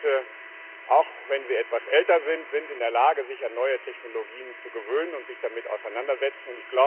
Landwirte, auch wenn sie etwas älter sind, sind in der Lage, sich an neue Technologien zu gewöhnen und sich damit auseinanderzusetzen.